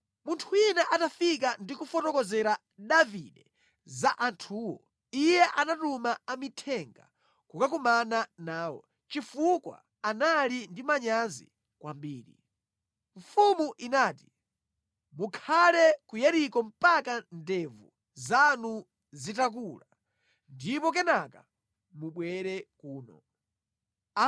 Munthu wina atafika ndi kufotokozera Davide za anthuwo, iye anatuma amithenga kukakumana nawo, chifukwa anali ndi manyazi kwambiri. Mfumu inati, “Mukhale ku Yeriko mpaka ndevu zanu zitakula, ndipo kenaka mubwere kuno.”